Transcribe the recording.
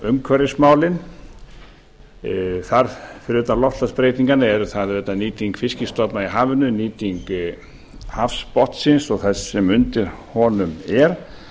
umhverfismálin fyrir utan loftslagsbreytingarnar eru það náttúrlega nýting fiskstofna í hafinu nýting hafsbotnsins og þess sem undir honum er